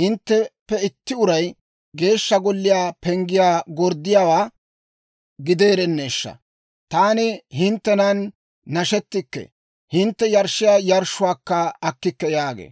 hintteppe itti uray Geeshsha Golliyaa penggiyaa gorddiyaawaa gideerenneeshsha! Taani hinttenan nashettikke; hintte yarshshiyaa yarshshuwaakka akkikke» yaagee.